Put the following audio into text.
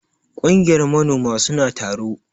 Kungiyar manoma suna taro.